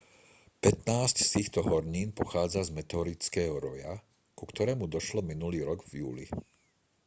pätnásť z týchto hornín pochádza z meteorického roja ku ktorému došlo minulý rok v júli